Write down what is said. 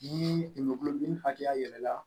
Ni ma kulodimi hakɛya yɛlɛma